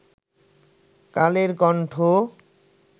Kaler Kantho